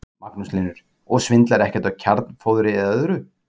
Magnús Hlynur: Og svindlar ekkert á kjarnfóðri eða öðru?